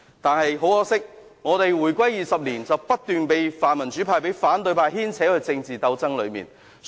但是，很可惜，香港回歸20年來，不斷被泛民主派和反對派牽扯入政治鬥爭。